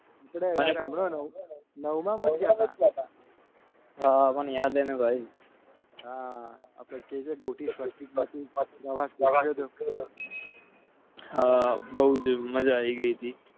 નવમને યાદ અને બહુ જ મજા આવી ગઈ હતી